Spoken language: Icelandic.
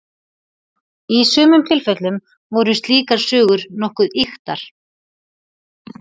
Í sumum tilfellum voru slíkar sögur nokkuð ýktar.